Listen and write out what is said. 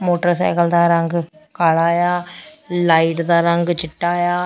Motorcycle ਦਾ ਰੰਗ ਕਾਲਾ ਆ ਲਾਈਟ ਦਾ ਰੰਗ ਚਿੱਟਾ ਆ।